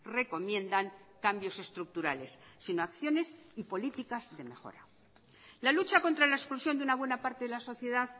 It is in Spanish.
recomiendan cambios estructurales sino acciones y políticas de mejora la lucha contra la exclusión de una buena parte de la sociedad